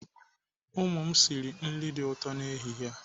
Ụmụ m sịrị nri dị ụtọ n'ehihie a.